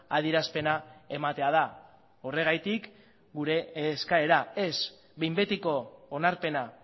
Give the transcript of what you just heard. adierazpena ematea da horregatik gure eskaera ez behin betiko onarpena